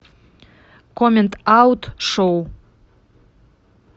коммент аут шоу